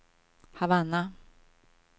Havanna